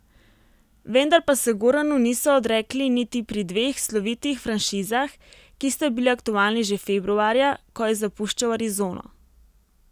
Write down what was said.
Vendar pa se Goranu niso odrekli niti pri dveh slovitih franšizah, ki sta bili aktualni že februarja, ko je zapuščal Arizono.